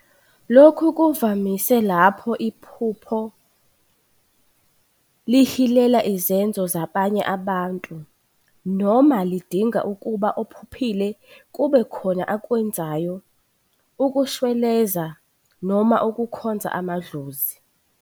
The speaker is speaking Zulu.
Lokhu kuvamise lapho iphupho lihilela izenzo zabanye abantu noma lidinga ukuba ophuphile kube khona akwenzayo ukushweleza noma ukukhonza amadlozi.